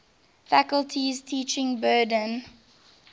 faculty's teaching burden